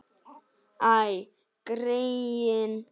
Æ, greyin.